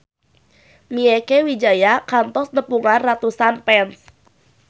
Mieke Wijaya kantos nepungan ratusan fans